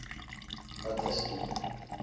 wat is die